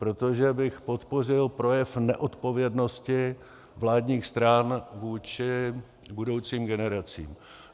Protože bych podpořil projev neodpovědnosti vládních stran vůči budoucím generacím.